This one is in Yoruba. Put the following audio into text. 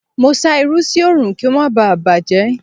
Mo sá irú sí Òòrùn kí ó má baà bàjẹ́.